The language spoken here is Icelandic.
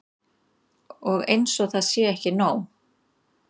Og eins og það sé ekki nóg.